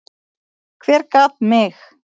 Hver gat mig?